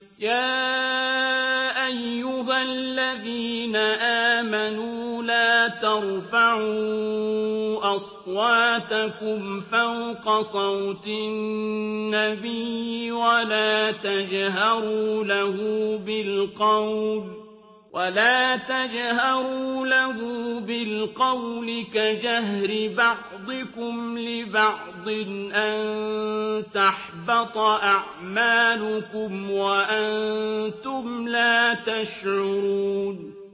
يَا أَيُّهَا الَّذِينَ آمَنُوا لَا تَرْفَعُوا أَصْوَاتَكُمْ فَوْقَ صَوْتِ النَّبِيِّ وَلَا تَجْهَرُوا لَهُ بِالْقَوْلِ كَجَهْرِ بَعْضِكُمْ لِبَعْضٍ أَن تَحْبَطَ أَعْمَالُكُمْ وَأَنتُمْ لَا تَشْعُرُونَ